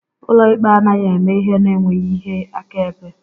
Ụlọ ikpe anaghị eme ihe n'enweghị ihe akaebe